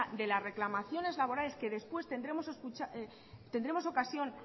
de las reclamaciones laborales que después tendremos ocasión